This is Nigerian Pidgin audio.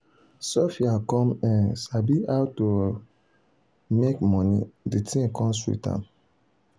sophia come um sabi how um to make money de thing come sweet am.